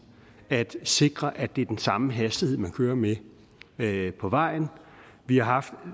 at sikre at det er den samme hastighed man kører med med på vejen vi har